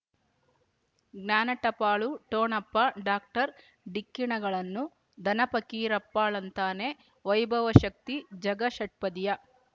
ಜ್ಞಾನ ಟಪಾಲು ಠೊಣಪ ಡಾಕ್ಟರ್ ಢಿಕ್ಕಿ ಣಗಳನು ಧನ ಫಕೀರಪ್ಪ ಳಂತಾನೆ ವೈಭವ ಶಕ್ತಿ ಝಗಾ ಷಟ್ಪದಿಯ